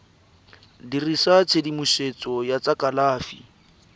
dirisa tshedimosetso ya tsa kalafi